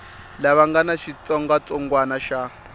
lava nga na xitsongwatsongwana xa